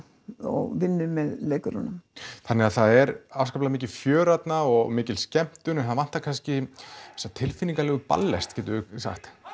og vinnu með leikurum þannig það er afskaplega mikið fjör þarna og mikil skemmtun en það vantar kannski þessa tilfinningalegu ballest getum við sagt